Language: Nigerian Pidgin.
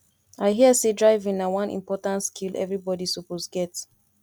i hear sey driving na one important skill everybody suppose get